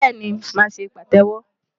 Bẹ́ẹ̀ni, màá ṣe pàtẹ́wọ́.